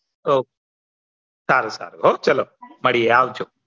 હવ સારું સારું હા ચાલો મળીયે આવજો